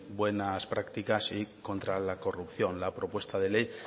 buenas prácticas y contra la corrupción la propuesta de ley